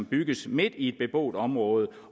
bygges midt i et beboet område og